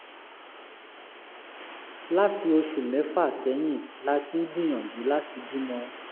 láti oṣù mẹ́fà sẹ́yìn la ti ń gbìyànjú láti bímọ